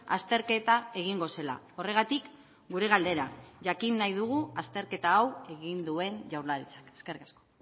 azterketa egingo zela horregatik gure galdera jakin nahi dugu azterketa hau egin duen jaurlaritzak eskerrik asko